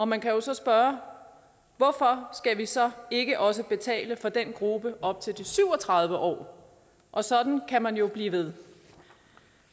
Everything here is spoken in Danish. man kan jo så spørge hvorfor skal vi så ikke også betale for den gruppe op til de syv og tredive år og sådan kan man jo blive ved